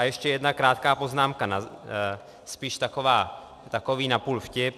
A ještě jedna krátká poznámka, spíš takový napůl vtip.